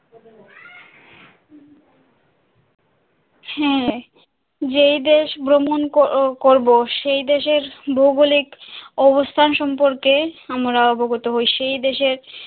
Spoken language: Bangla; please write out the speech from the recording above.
হ্যাঁ যেই দেশ ভ্রমণ কর~করব সেই দেশের ভৌগোলিক অবস্থান সম্পর্কে আমরা অবগত হয় সেই দেশের